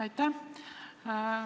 Aitäh!